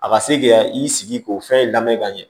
A ka se k'i ka i sigi k'o fɛn lamɛn ka ɲɛ